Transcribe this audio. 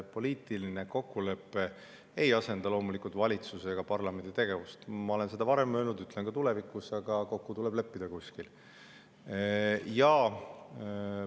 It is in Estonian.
Poliitiline kokkulepe ei asenda loomulikult valitsuse ega parlamendi tegevust, ma olen seda varem öelnud ja ütlen ka tulevikus, aga kuskil tuleb kokku leppida.